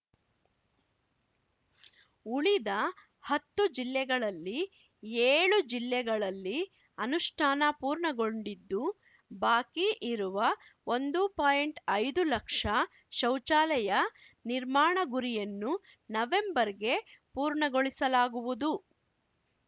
ಉಳಿದ ಹತ್ತು ಜಿಲ್ಲೆಗಳಲ್ಲಿ ಏಳು ಜಿಲ್ಲೆಗಳಲ್ಲಿ ಅನುಷ್ಠಾನ ಪೂರ್ಣಗೊಂಡಿದ್ದು ಬಾಕಿ ಇರುವ ಒಂದು ಪಾಯಿಂಟ್ಐದು ಲಕ್ಷ ಶೌಚಾಲಯ ನಿರ್ಮಾಣ ಗುರಿಯನ್ನು ನವೆಂಬರ್‌ಗೆ ಪೂರ್ಣಗೊಳಿಸಲಾಗುವುದು